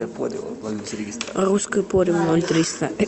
русское поле ноль триста